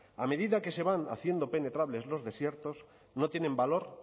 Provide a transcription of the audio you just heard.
a medida que se van haciendo penetrables los desiertos no tienen valor